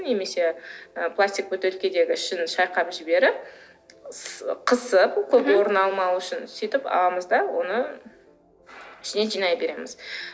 немесе і пластик бөтелкедегі ішін шайқап жіберіп қысып көп орын алмау үшін сөйтіп аламыз да оны ішіне жинай береміз